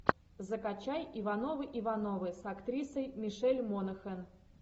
закачай ивановы ивановы с актрисой мишель монахэн